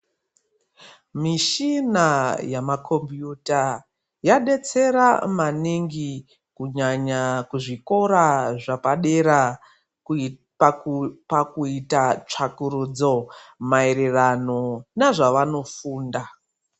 Mishina yama compuyuta ,yadetsera maningi kunyanya kuzvikora zvepadera pakuita tsvakurudzo maererano nezvavanofunda.